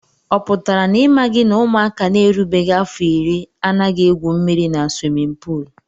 Ọ pụtara na imaghi na ụmụaka na erubeghi afọ irí anaghị egwú mmiri n' swimin poolu?